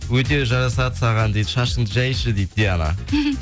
өте жарасады саған дейді шашыңды жайшы дейді диана